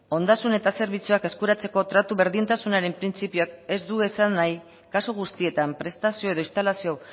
ondasun eta zerbitzuak eskuratzeko tratu berdintasunaren printzipioak ez du esan nahi kasu guztietan prestazio edo instalazio